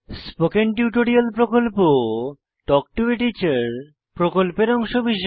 spoken tutorial প্রকল্প talk to a teacher প্রকল্পের অংশবিশেষ